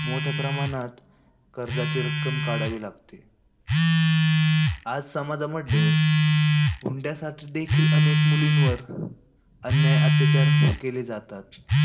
मोठ्या प्रमाणात कर्जाची रक्कम काढावी लागते. आज समाजामध्ये हुंड्यासाठी देखील अनेक मुलींवर अन्याय अत्याचार केले जातात.